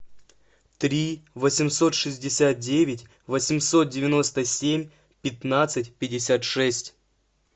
три восемьсот шестьдесят девять восемьсот девяносто семь пятнадцать пятьдесят шесть